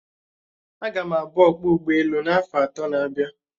Aga m abu ọkpọ ụgbọelu afo atọ na-abịa